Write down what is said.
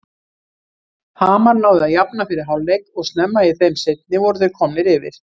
Hamar náði að jafna fyrir hálfleik og snemma í þeim seinni voru þeir komnir yfir.